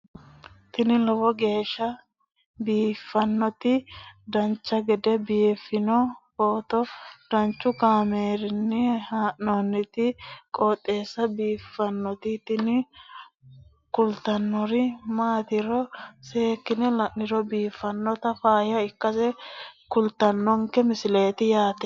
tini lowo geeshsha biiffannoti dancha gede biiffanno footo danchu kaameerinni haa'noonniti qooxeessa biiffannoti tini kultannori maatiro seekkine la'niro biiffannota faayya ikkase kultannoke misileeti yaate